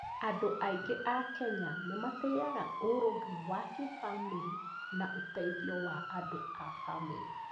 Andũ aingĩ a Kenya nĩ matĩaga ũrũmwe wa kĩbamĩrĩ na ũteithio wa andũ a bamĩrĩ.